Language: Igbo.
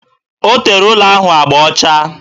O tere ụlọ elu ahụ agba ọcha